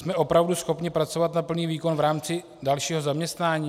Jsme opravdu schopni pracovat na plný výkon v rámci dalšího zaměstnání?